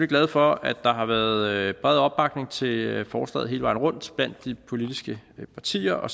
glad for at der har været bred opbakning til forslaget hele vejen rundt blandt de politiske partier og